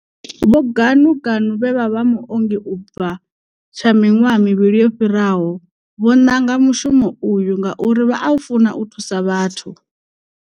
Vho Ganuganu vhe vha vha muongi u bva tsha miṅwaha mivhili yo fhiraho, vho nanga mushumo uyu ngauri vha a funa u thusa vhathu.